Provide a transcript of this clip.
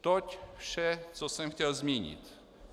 Toť vše, co jsem chtěl zmínit.